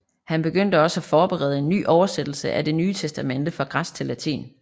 Han begyndte også at forberede en ny oversættelse af Det Nye Testamente fra græsk til latin